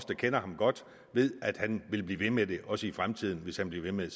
der kender ham godt ved at han vil blive ved med det også i fremtiden hvis han bliver ved med